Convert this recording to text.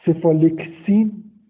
цефалексин